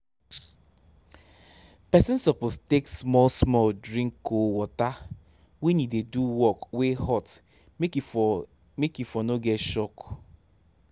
pesin suppose take small-small drink cold water wen e dey do work wey hot make e for make e for no get shock